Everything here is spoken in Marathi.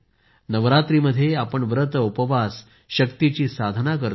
नवरात्रामध्ये आपण व्रतउपवास शक्तीची साधना करतो